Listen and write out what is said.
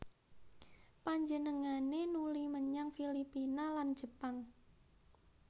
Panjenengané nuli menyang Filipina lan Jepang